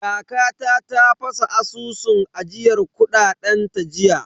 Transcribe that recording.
Kakata ta fasa asusun ajiyar kuɗaɗen ta jiya.